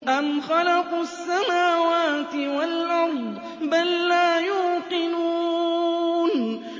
أَمْ خَلَقُوا السَّمَاوَاتِ وَالْأَرْضَ ۚ بَل لَّا يُوقِنُونَ